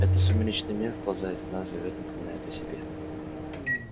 это сумеречный мир вползает в нас зовёт напоминает о себе